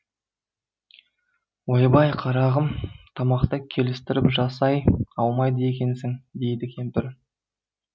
ойбай қарағым тамақты келістіріп жасай алмайды екенсің дейді кемпір